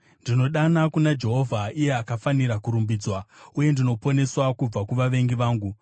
Ndinodana kuna Jehovha, iye akafanira kurumbidzwa, uye ndinoponeswa kubva kuvavengi vangu.